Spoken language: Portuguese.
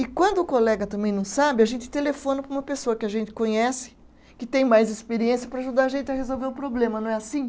E quando o colega também não sabe, a gente telefona para uma pessoa que a gente conhece, que tem mais experiência para ajudar a gente a resolver o problema, não é assim?